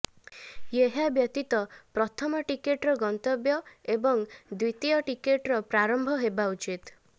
ଏହା ବ୍ୟତୀତ ପ୍ରଥମ ଟିକଟର ଗନ୍ତବ୍ୟ ଏବଂ ଦ୍ବିତୀୟ ଟିକଟର ପ୍ରାରମ୍ଭ ହେବା ଉଚିତ୍